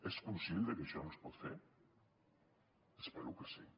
és conscient de que això no es pot fer espero que sí